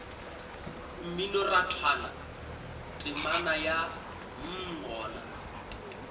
mminorathwana temana ya mm gona